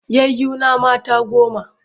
Yayuna mata goma.